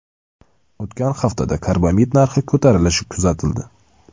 O‘tgan haftada karbamid narxi ko‘tarilishi kuzatildi .